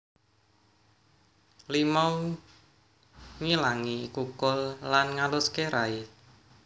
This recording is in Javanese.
Limau nghilangi kukul lan ngaluské rai